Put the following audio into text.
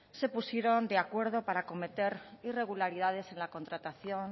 se pusieron de acuerdo para cometer irregularidades en la contratación